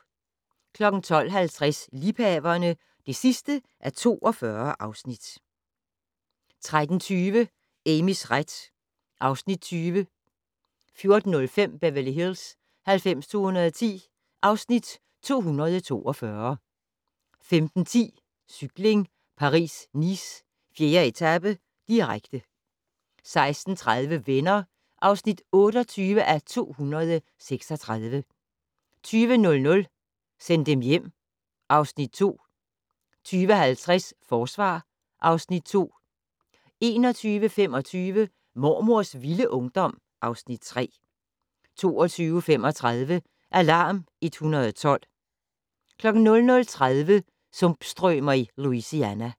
12:50: Liebhaverne (42:42) 13:20: Amys ret (Afs. 20) 14:05: Beverly Hills 90210 (Afs. 242) 15:10: Cykling: Paris-Nice - 4. etape, direkte 16:30: Venner (28:236) 20:00: Send dem hjem (Afs. 2) 20:50: Forsvar (Afs. 2) 21:25: Mormors vilde ungdom (Afs. 3) 22:35: Alarm 112 00:30: Sumpstrømer i Louisiana